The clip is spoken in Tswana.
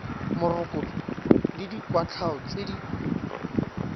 morokotso le dikwatlhao tse di